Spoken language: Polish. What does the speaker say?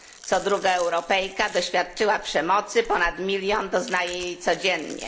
Co druga Europejka doświadczyła przemocy, ponad milion doznaje jej codziennie.